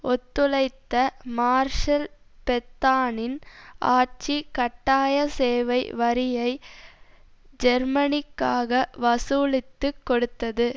ஒத்துழைத்த Marshal பெத்தானின் ஆட்சி கட்டாய சேவை வரியை ஜேர்மனிக்காக வசூலித்து கொடுத்தது